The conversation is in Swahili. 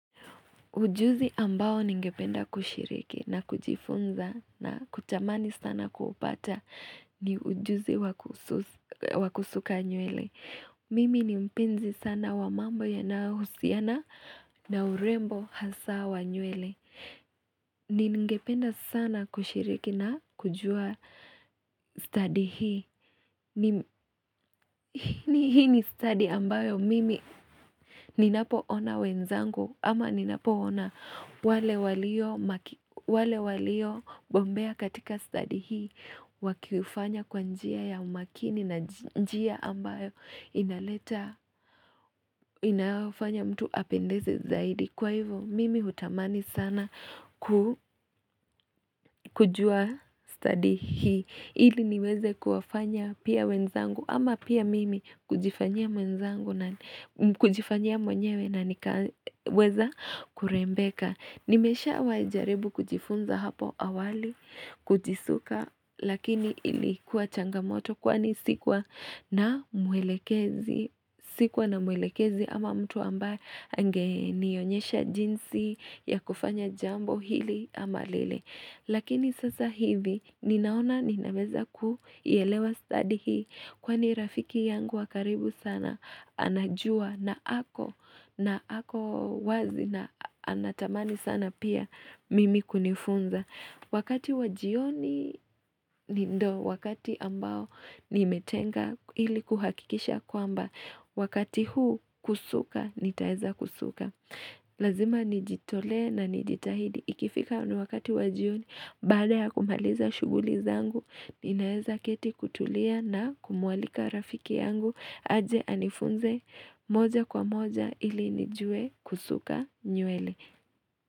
Ujuzi ambao ningependa kushiriki na kujifunza na kutamani sana kuupata ni ujuzi wakusuka nywele. Mimi ni mpenzi sana wa mambo yana husiana na urembo hasa wa nywele. Ningependa sana kushiriki na kujua stadi hii. Hii ni stadi ambayo mimi ninapoona wenzangu ama ninapoona wale walio bombea katika stadi hii wakifanya kwa njia ya umakini na njia ambayo inaleta inayofanya mtu apendeze zaidi Kwa hivyo mimi hutamani sana ku kujua stadi hii ili niweze kuwafanya pia wenzangu ama pia mimi kujifanyia mwenzangu kujifanya mwenyewe na nikaweza kurembeka Nimeshawahi jaribu kujifunza hapo awali kujisuka lakini ilikuwa changamoto kwani sikuwa na muelekezi sikuwa na muelekezi ama mtu ambaye angenionyesha jinsi ya kufanya jambo hili ama lile Lakini sasa hivi ninaona ninaweza kuielewa stadi hii kwani rafiki yangu wakaribu sana anajua na ako na ako wazi na anatamani sana pia mimi kunifunza. Wakati wa jioni ni ndo wakati ambao nimetenga ili kuhakikisha kwamba wakati huu kusuka nitaeza kusuka. Lazima nijitolee na nijitahidi Ikifika unu wakati wa jioni Baada ya kumaliza shughuli zangu Ninaeza keti kutulia na kumwalika rafiki yangu aje anifunze moja kwa moja ili nijue kusuka nywele.